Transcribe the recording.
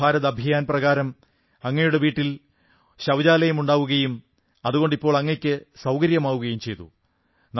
സ്വച്ഛഭാരത് അഭിയാൻ പ്രകാരം അങ്ങയുടെ വീട്ടിൽ ശൌചാലയം ഉണ്ടാവുകയും അതുകൊണ്ട് ഇപ്പോൾ അങ്ങയ്ക്ക് സൌകര്യമാവുകയും ചെയ്തു